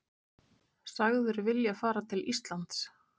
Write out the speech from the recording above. Sagður vilja fara til Íslands